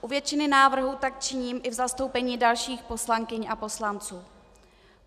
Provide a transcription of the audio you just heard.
U většiny návrhů tak činím i v zastoupení dalších poslankyň a poslanců.